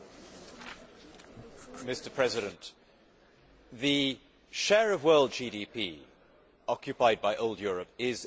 Mr President, the share of world GDP occupied by old Europe is in serious decline.